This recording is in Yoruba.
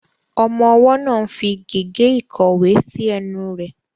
Ọmọ ọwọ́ náà ń fi gègé ìkọ̀wé sí ẹnu rẹ̀.